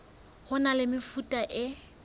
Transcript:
ho na le mefuta e